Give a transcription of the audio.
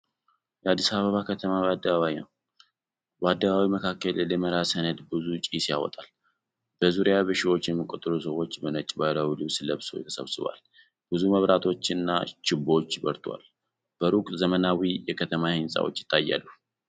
የአዲስ አበባ ከተማ አደባባይ ነው። በአደባባዩ መካከል ደመራ ሲነድ ብዙ ጭስ ይወጣል። በዙሪያው በሺዎች የሚቆጠሩ ሰዎች በነጭ ባህላዊ ልብስ ለብሰው ተሰብስበዋል። ብዙ መብራቶችና ችቦዎች በርተዋል። በሩቅ ዘመናዊ የከተማ ሕንፃዎች ይታያሉ።